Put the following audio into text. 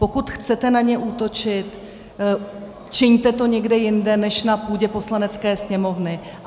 Pokud chcete na ně útočit, čiňte to někde jinde než na půdě Poslanecké sněmovny.